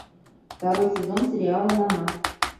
второй сезон сериала на на